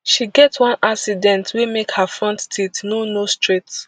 she get one accident wey make her front teeth no no straight